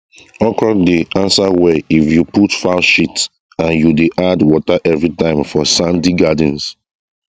okra dey answer well if you put fowl shit and you dey add water everytime for sandy gardens